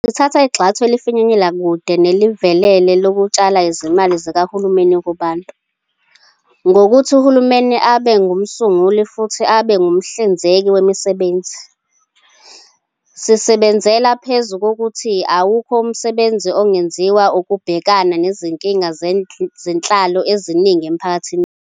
Sithatha igxathu elifinyelela kude nelivelele lokutshala izimali zikahulumeni kubantu, ngokuthi uhulumeni abe ngumsunguli futhi abe ngumhlinzeki wemisebenzi. Sisebenzela phezu kokuthi awukho umsebenzi ongenziwa ukubhekana nezinkinga zenhlalo eziningi emphakathini wethu.